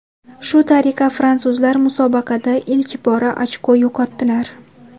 Shu tariqa fransuzlar musobaqada ilk bora ochko yo‘qotdilar.